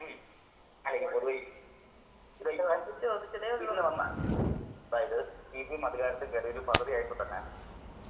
ഉം *നോട്ട്‌ ക്ലിയർ* ആയി *നോട്ട്‌ ക്ലിയർ* പൊതുവായി ഇന്ന് വന്ന അതായത് സി പി എം അധികാരത്തിൽ കേറി ഒരു പകുതി ആയപ്പോ തന്നെ